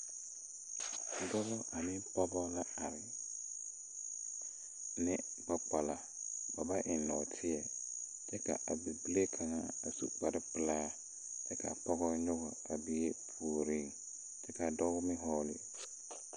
Dɔbɔ ane pɔɔbɔ la are ne gbɛ gbala ba ba eŋ nɔɔteɛ kyɛ ka a bibile kaŋa a su kparepilaa kyɛ kaa pɔgɔ nyoge a bie puore kyɛ kaa dɔɔ meŋ hɔɔle zupile.